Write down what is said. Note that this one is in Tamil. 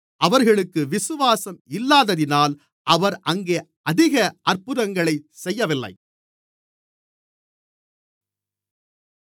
அவர்களுக்கு விசுவாசம் இல்லாததினால் அவர் அங்கே அதிக அற்புதங்களைச் செய்யவில்லை